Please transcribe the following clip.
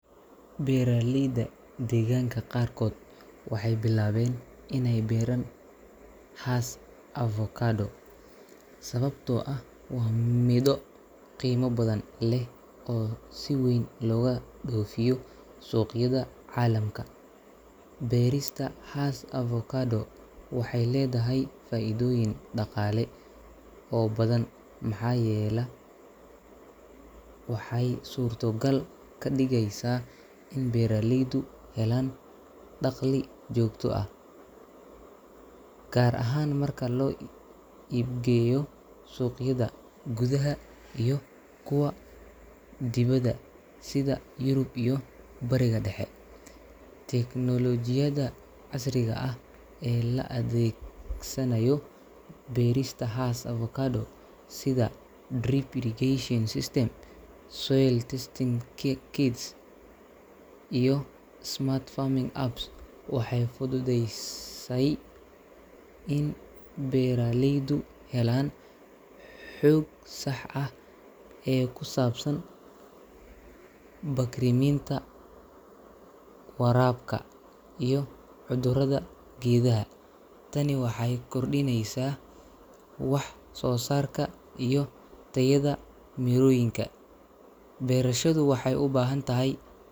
Beeraleyda deegaanka qaarkood waxay bilaabeen inay beeraan Hass avocado sababtoo ah waa midho qiimo badan leh oo si weyn looga dhoofiyo suuqyada caalamka. Beerista Hass avocado waxay leedahay faa’iidooyin dhaqaale oo badan maxaa yeela waxay suurtogal ka dhigeysaa in beeraleydu helaan dakhli joogto ah, gaar ahaan marka loo iibgeeyo suuqyada gudaha iyo kuwa dibadda sida Yurub iyo Bariga Dhexe. Teknoolojiyadda casriga ah ee la adeegsanayo beerista Hass avocado sida drip irrigation system, soil testing ki kits, iyo smart farming apps waxay fududeyy say in beeraleydu helaan xoog sax ah oo ku saabsan bacriminta, waraabka, iyo cudurrada geedhaha. Tani waxay kordhineysaa wax-soosaarka iyo tayada mirooyinka. Beerashadu waxay u baahan tahay .